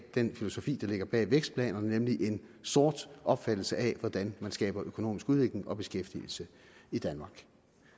den filosofi der ligger bag vækstplanerne nemlig en sort opfattelse af hvordan man skaber økonomisk udvikling og beskæftigelse i danmark